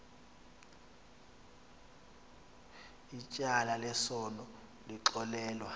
ityala lesono lixolelwe